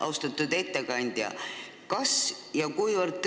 Austatud ettekandja!